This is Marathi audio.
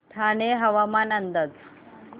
ठाणे हवामान अंदाज